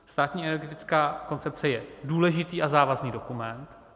Státní energetická koncepce je důležitý a závazný dokument.